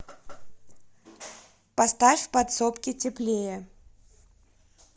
поставь в подсобке теплее